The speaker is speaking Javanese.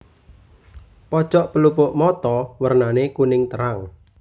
Pojok pelupuk mata wernané kuning terang